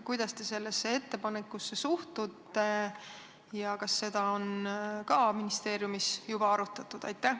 Kuidas te sellesse ettepanekusse suhtute ja kas seda on ministeeriumis juba arutatud?